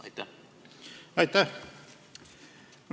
Aitäh!